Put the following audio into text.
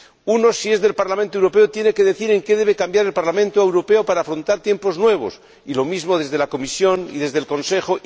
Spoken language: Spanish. Uno, si es del Parlamento Europeo, tiene que decir en qué debe cambiar el Parlamento para afrontar tiempos nuevos, y lo mismo debe hacerse desde la Comisión y desde el Consejo